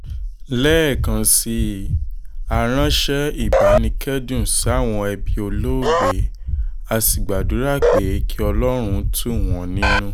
lẹ́ẹ̀kan sí i á ránṣẹ́ ìbánikẹ́dùn sáwọn ẹbí olóògbé á sì gbàdúrà pé kí ọlọ́run tù wọ́n nínú